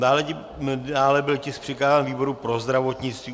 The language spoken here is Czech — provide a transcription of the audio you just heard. Dále byl tisk přikázán výboru pro zdravotnictví.